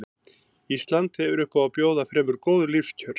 Ísland hefur upp á að bjóða fremur góð lífskjör.